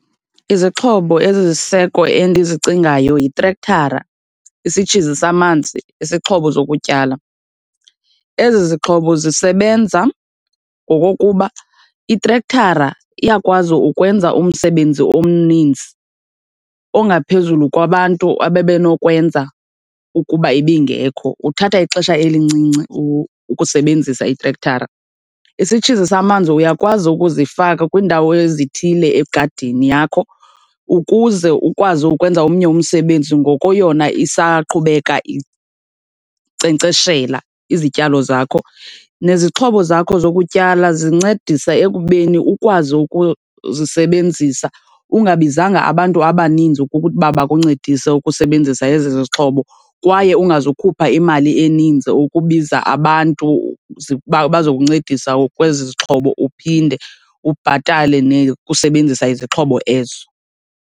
Izixhobo eziziseko endizicingayo yitrekthara, isitshizi samanzi, isixhobo zokutyala. Ezi zixhobo zisebenza ngokokuba itrekthara iyakwazi ukwenza umsebenzi omninzi ongaphezulu kwabantu abebenokwenza ukuba ibingekho. Kuthatha ixesha elincinci ukusebenzisa itrekthara. Isitshizi samanzi uyakwazi ukuzifaka kwiindawo ezithile egadini yakho ukuze ukwazi ukwenza omnye umsebenzi ngoko yona isaqhubeka inkcenkceshela izityalo zakho. Nezixhobo zakho zokutyala zincedisa ekubeni ukwazi ukuzisebenzisa ungabizanga abantu abaninzi ukuba bakuncedise ukusebenzisa ezi zixhobo kwaye ungazukhupha imali eninzi ukubiza abantu bazokuncedisa kwezi zixhobo, uphinde ubhatale nekusebenzisa izixhobo ezo.